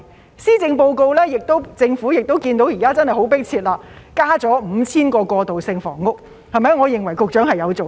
在施政報告中，政府看到現時問題十分迫切，增加了 5,000 個過渡性房屋單位，我認為局長有做工作。